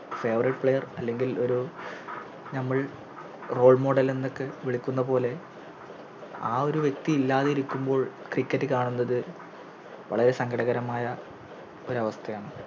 Favourite player അല്ലെങ്കിൽ ഒരു ഞമ്മൾ Role model എന്നൊക്കെ വിളിക്കുന്നപോലെ ആ ഒരു വ്യക്തി ഇല്ലാതിരിക്കുമ്പോൾ Cricket കാണുന്നത് വളരെ സങ്കടകരമായ ഒരവസ്ഥയാണ്